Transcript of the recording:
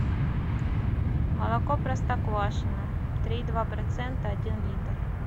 молоко простоквашино три и два процента один литр